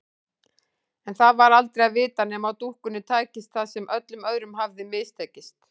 En það var aldrei að vita nema dúkkunni tækist það sem öllum öðrum hafði mistekist.